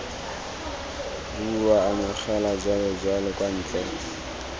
bua amogela jalojalo kwa ntle